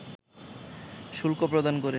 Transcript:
শুল্ক প্রদান করে